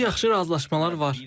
Artıq yaxşı razılaşmalar var.